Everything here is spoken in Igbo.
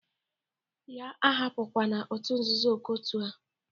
Ya ahapụkwana otu nzuzo ọkọtu a!